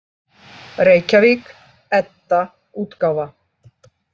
Reykjavík: Edda-útgáfa.